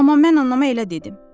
Amma mən anama elə dedim.